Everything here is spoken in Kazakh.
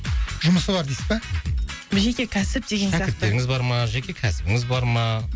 жұмысы бар дейсіз ба жеке кәсіп деген сияқты шәкірттеріңіз бар ма жеке кәсібіңіз бар ма